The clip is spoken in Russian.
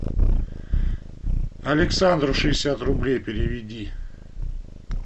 александру шестьдесят рублей переведи